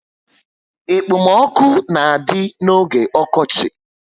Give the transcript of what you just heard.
Ekpo m ọkụ na adị n'oge okochi